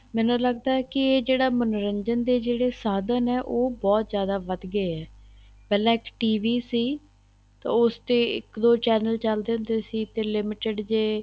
ਮੈਨੂੰ ਲੱਗਦਾ ਹੈ ਕੀ ਇਹ ਜਿਹੜਾ ਮੰਨੋਰੰਜਨ ਦੇ ਜਿਹੜੇ ਸਾਧਨ ਹੈ ਉਹ ਜਿਆਦਾ ਵੱਧ ਗਏ ਹੈ ਪਹਿਲਾਂ ਇੱਕ TV ਸੀ ਤਾਂ ਉਸ ਤੇ ਇੱਕ ਦੋ channel ਚੱਲਦੇ ਹੁੰਦੇ ਸੀ ਤੇ limited ਜ਼ੇ